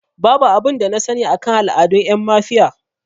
Babu abin da na sani akan al'adun ƴan mafiya